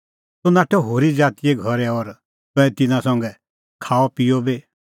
तूह नाठअ होरी ज़ातीए घरै और तंऐं तिन्नां संघै खाअपिअ बी